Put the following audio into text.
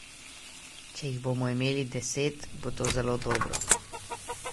Če jih bomo imeli deset, bo to zelo dobro.